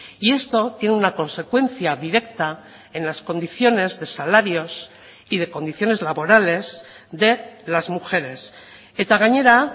y esto tiene una consecuencia directa en las condiciones de salarios y de condiciones laborales de las mujeres eta gainera